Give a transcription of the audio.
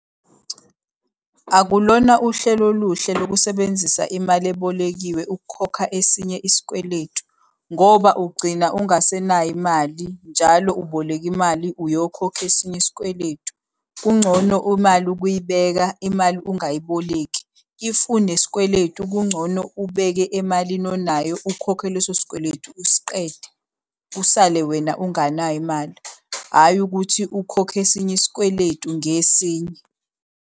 Akulona uhlelo oluhle lokusebenzisa imali ebolekiwe ukukhokha esinye isikweletu. Ngoba ugcina ungasenayo imali, njalo uboleka imali uyokhokha esinye isikweletu. Kungcono imali ukuyibeka imali ungayiboleki. If unesikweletu kungcono ubeke emalini onayo ukhokhe leso sikweletu usiqede, usale wena unganayo imali. Hhayi ukuthi ukhokhe esinye isikweletu ngesinye.